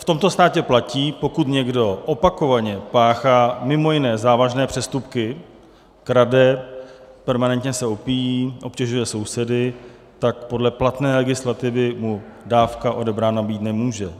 V tomto státě platí, pokud někdo opakovaně páchá mimo jiné závažné přestupky, krade, permanentně se opíjí, obtěžuje sousedy, tak podle platné legislativy mu dávka odebrána být nemůže.